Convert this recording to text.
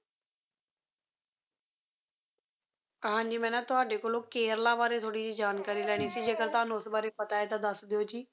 ਹਾਂ ਜੀ ਮੈਂ ਨਾ ਤੁਹਾਡੇ ਕੋਲੋਂ ਕੇਰਲਾ ਬਾਰੇ ਥੋੜੀ ਜਿਹੀ ਜਾਣਕਾਰੀ ਲੈਣੀ ਸੀ ਜੇਕਰ ਤੁਹਾਨੂੰ ਉਸ ਬਾਰੇ ਪਤਾ ਹੈ ਤਾਂ ਦੱਸ ਦਿਓ ਜੀ?